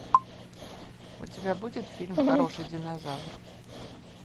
у тебя будет фильм хороший динозавр